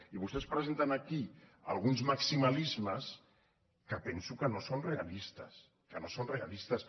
i vostès presenten aquí alguns maximalismes que penso que no són realistes que no són realistes